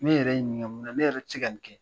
Ne yɛrɛ n ɲininka mun na ne yɛrɛ tɛ se ka nin kɛ?